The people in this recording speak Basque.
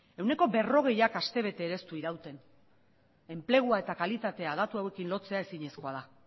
ehuneko berrogeita hamara astebete ere ez du irauten enplegua eta kalitatea datu hauekin lotzea ezinezkoa da